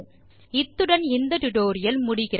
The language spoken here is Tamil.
இத்துடன் இந்த டுடோரியல் முடிகிறது